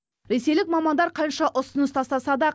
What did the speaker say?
ресейлік мамандар қанша ұсыныс тастаса да